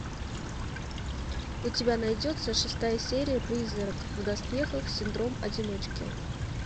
у тебя найдется шестая серия призрак в доспехах синдром одиночки